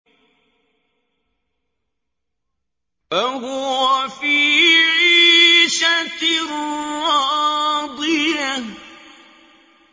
فَهُوَ فِي عِيشَةٍ رَّاضِيَةٍ